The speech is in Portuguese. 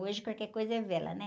Hoje qualquer coisa é vela, né?